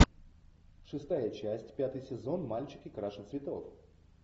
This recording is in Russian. шестая часть пятый сезон мальчики краше цветов